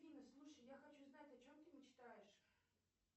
афина слушай я хочу знать о чем ты мечтаешь